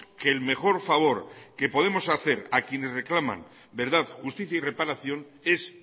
que el mejor favor que podemos hacer a quienes reclaman verdad justicia y reparación es